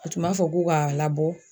A tun m'a fɔ k'u ka labɔ